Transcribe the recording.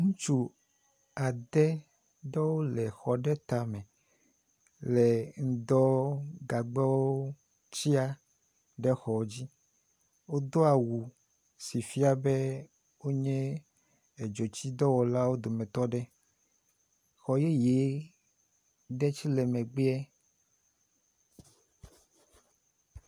Ŋutsɔ ɖewo le exɔ tame le ŋdɔgagbɔ tsia ɖe xɔ dzi. Wodo awu si fia be wonye edzotsidɔwɔlawo dometɔ aɖe. xɔyeye ɖe tse le megbea.